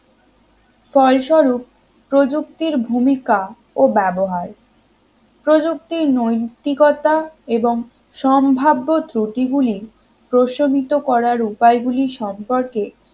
ফলস্বরূপ প্রযুক্তির ভূমিকা ও ব্যবহার প্রযুক্তি নৈতিকতা এবং সম্ভাব্য ত্রূটি গুলি প্রশমিত করার উপায় গুলি সম্পর্কে